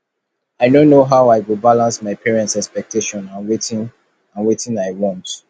i no know how i go balance my parents expectations and wetin and wetin i want